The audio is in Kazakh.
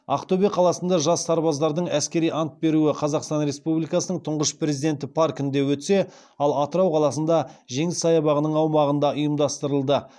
ақтөбе қаласында жас сарбаздардың әскери ант беруі қазақстан республикасының тұңғыш президенті паркінде өтсе ал атырау қаласында жеңіс саябағының аумағында ұйымдастырылды